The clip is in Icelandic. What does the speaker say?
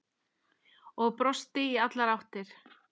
Og brosti í allar áttir.